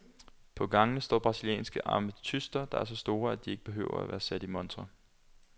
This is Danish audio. På gangene står brasilianske ametyster, der er så store, at de ikke behøver at være sat i montre.